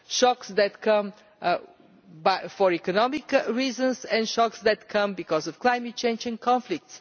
Shocks that come for economic reasons and shocks that come because of climate change and conflict.